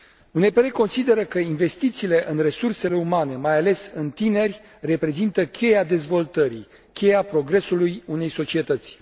UNPR consideră că investițiile în resursele umane, mai ales în tineri, reprezintă cheia dezvoltării, cheia progresului unei societăți.